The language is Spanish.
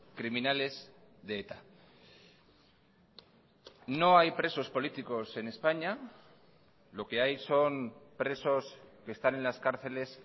criminales de eta no hay presos políticos en españa lo que hay son presos que están en las cárceles